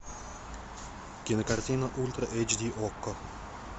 кинокартина ультра эйч ди окко